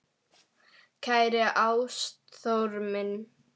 Kæri Ástþór minn.